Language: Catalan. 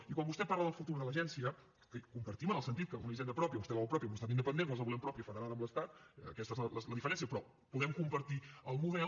i quan vostè parla del futur de l’agència que compartim en el sentit que una hisenda pròpia vostè la vol pròpia en un estat independent nosaltres la volem pròpia federada amb l’estat aquesta és la diferència però podem compartir el model